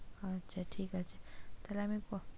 আচ্ছা ঠিক আছে তাহলে আমি,